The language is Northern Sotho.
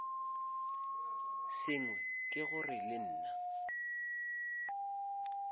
sengwe ke gore le nna